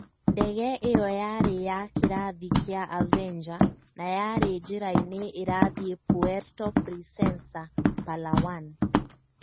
Ndege ĩyo yarĩ ya kĩrathi kĩa Avenger, na yarĩ njĩra-inĩ ĩrathiĩ Puerto Princesa, Palawan.